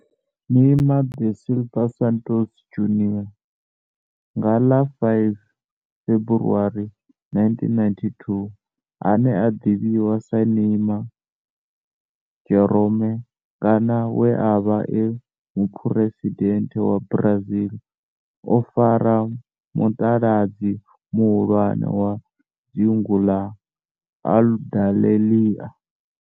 Neymar da Silva Santos Junior, nga ḽa 5 February 1992, ane a ḓivhiwa sa Ne'ymar' Jeromme kana we a vha e muphuresidennde wa Brazil o fara mutaladzi muhulwane wa dzingu na Aludalelia.